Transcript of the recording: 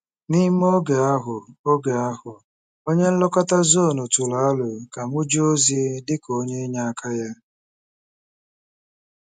N'ime oge ahụ, oge ahụ, onye nlekọta zoonu tụrụ aro ka m jee ozi dị ka onye inyeaka ya.